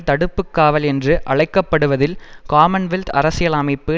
தடுப்பு காவல் என்று அழைக்க படுவதில் காமன்வெல்த் அரசியலமைப்பை